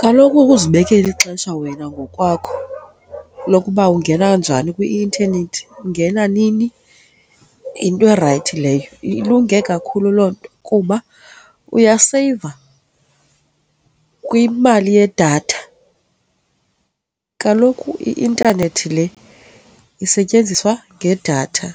Kaloku ukuzibekela ixesha wena ngokwakho lokuba ungena njani kwi-intanethi, ungena nini yinto erayithi leyo, ilunge kakhulu loo nto kuba uyaseyiva kwimali yedatha. Kaloku i-intanethi le isetyenziswa ngedatha.